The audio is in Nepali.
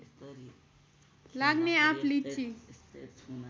लाग्ने आँप लिची